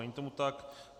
Není tomu tak.